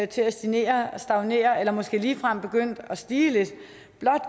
til at stagnere at stagnere eller måske ligefrem stige lidt